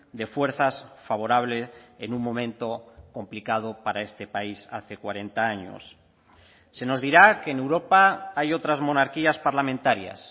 de fuerzas favorable en un momento complicado para este país hace cuarenta años se nos dirá que en europa hay otras monarquías parlamentarias